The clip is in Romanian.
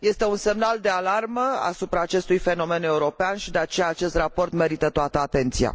Este un semnal de alarmă asupra acestui fenomen european și, de aceea, acest raport merită toată atenția.